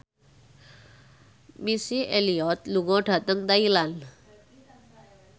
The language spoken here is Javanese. Missy Elliott lunga dhateng Thailand